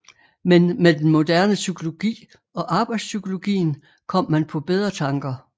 Men med den moderne psykologi og arbejdspsykologien kom man på bedre tanker